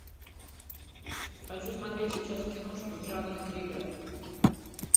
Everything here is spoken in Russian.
хочу смотреть сейчас киношку в жанре триллер